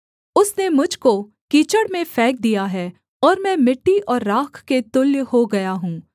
उसने मुझ को कीचड़ में फेंक दिया है और मैं मिट्टी और राख के तुल्य हो गया हूँ